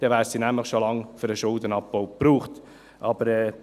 Denn dann wären sie nämlich schon lange für den Schuldenabbau verwendet worden.